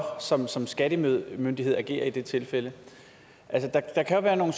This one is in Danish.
som som skattemyndighed agere i det tilfælde altså der kan være nogle